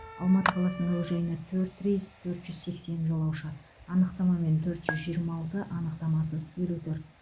алматы қаласының әуежайына төрт рейс төрт жүз сексен жолаушы анықтамамен төрт жүз жиырма алты анықтамасыз елу төрт